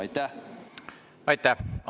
Aitäh!